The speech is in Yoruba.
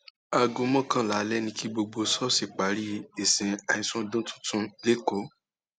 aago mọkànlá alẹ ni kí gbogbo ṣọọṣì parí ìsìn àìsùn ọdún tuntun lẹkọọ